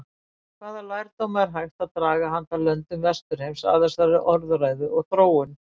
Hvaða lærdóma er hægt að draga handa löndum vesturheims af þessari orðræðu og þróun?